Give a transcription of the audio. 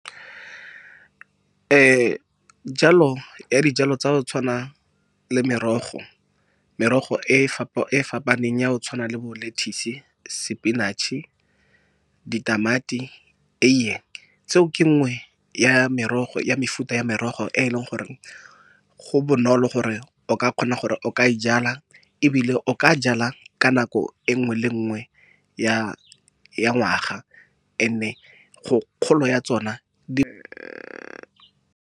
Jalo ya dijalo tsa go tshwana le merogo, merogo e e fapaneng ya go tshwana le bo lettuce, spinach-e, ditamati, eiye tseo ke nngwe ya mefuta ya merogo e e leng gore go bonolo gore o ka kgona gore o ka e jala ebile o ka jala ka nako e nngwe le nngwe ya ngwaga and-e kgolo ya tsona di .